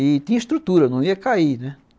E tinha estrutura, não ia cair, né?